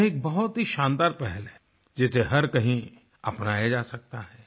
यह एक बहुत ही शानदार पहल है जिसे हर कहीं अपनाया जा सकता है